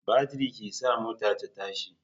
Batiri ke sa mota ta tashi